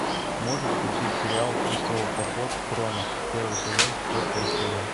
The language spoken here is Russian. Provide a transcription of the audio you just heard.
можешь включить сериал крестовый поход хроно первый сезон четвертая серия